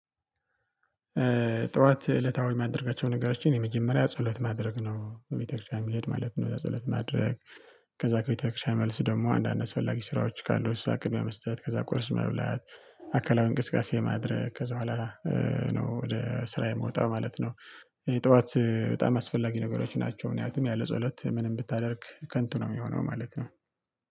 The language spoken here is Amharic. ጠዋት እለታዊ ማደረጋቸው ነገሮች የመጀመሪያ ጸሎት ማድረግ ነው ቤተክርስቲያን የሚሄድ ማለት ነው ጸሎት ማድረግ። ከዛ ከቤተክርስቲያን መልስ ደግሞ አንዳንድ አስፈላጊ ስራዎች ካሉ እሷ ቅድሚያ መስጠት ከዛ ቁርስ መብላት አካላዊ እንቅስቃሴ ማድረግ ከዛ በኋላ ነው ወደ ስራ የምወጣው ማለት ነው። ጠዋት በጣም አስፈላጊ ነገሮች ናቸው ምክንያቱም ያለ ጸሎት ምንም ብታደርግ ከንቱ ነው የሚሆነው ማለት ነው።